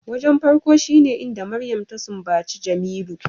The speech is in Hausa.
Wajen farko shine inda Mariam ta sumbaci Jemilu